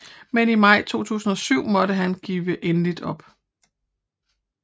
Men i maj 2007 måtte han give endeligt op